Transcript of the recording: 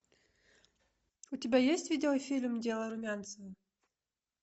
у тебя есть видеофильм дело румянцева